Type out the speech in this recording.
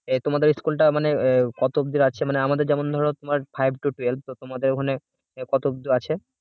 আহ তোমাদের school টা মানে কত অব্দি আছে যেমন ধরা আমাদের এখানে five to twelve তো তোমাদের ওখানে কত অব্দি আছে